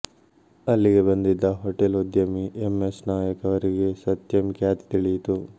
ಅಲ್ಲಿಗೆ ಬಂದಿದ್ದ ಹೋಟೆಲ್ ಉದ್ಯಮಿ ಎಂ ಎಸ್ ನಾಯಕ್ ಅವರಿಗೆ ಸತ್ಯಂ ಖ್ಯಾತಿ ತಿಳಿಯಿತು